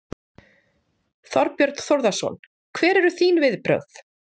Þorbjörn Þórðarson: Hver eru þín viðbrögð?